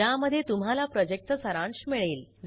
ज्यामध्ये तुम्हाला प्रॉजेक्टचा सारांश मिळेल